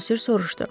Bosir soruşdu.